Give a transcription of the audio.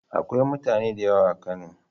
Akwai mutane da yawa a Kano.